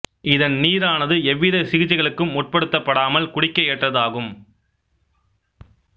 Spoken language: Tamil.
இதன் நீரானது எவ்வித சிகிச்சைகளுக்கும் உட்படுத்தப்படாமல் குடிக்க ஏற்றது ஆகும்